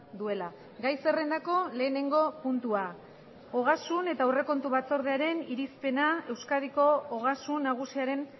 duela gai zerrendako lehenengo puntua ogasun eta aurrekontu batzordearen irizpena euskadiko ogasun nagusiaren